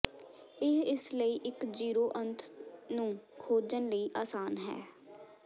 ਇਹ ਇਸ ਲਈ ਇੱਕ ਜ਼ੀਰੋ ਅੰਤ ਨੂੰ ਖੋਜਣ ਲਈ ਆਸਾਨ ਹੈ